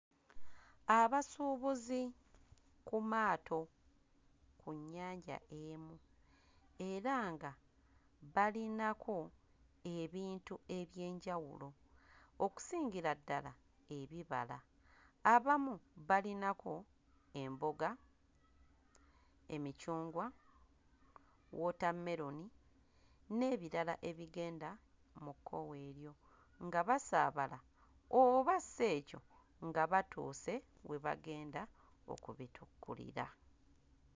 Abasuubuzi ku maato ku nnyanja emu era nga balinako ebintu eby'enjawulo okusongira ddala bibala. abamu balinako emboga, emicungwa, wootameroni n'ebirala ebigenda mu kkowe eryo, nga basaabala oba si ekyo nga batuuse we bagenda okutikkulira.